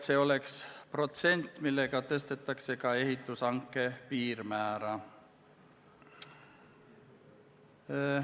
See oleks protsent, millega tõstetakse ka ehitushanke piirmäära.